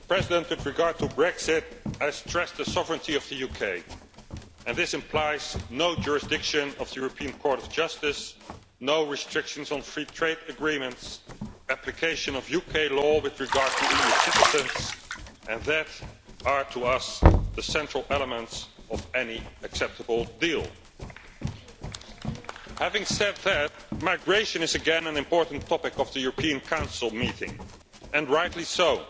Mr President, with regards to Brexit, I stress the sovereignty of the UK. This implies no jurisdiction of the European Court of Justice, no restrictions on free trade agreements, application of UK law with regard to EU citizens, and these are to us the central elements of any acceptable deal. Having said that, migration is again an important topic of the European Council meeting, and rightly so.